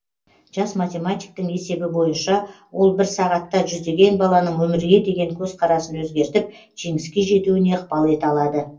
жас математиктің есебі бойынша ол бір сағатта жүздеген баланың өмірге деген көзқарасын өзгертіп жеңіске жетуіне ықпал ете алады